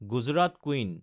Gujarat queen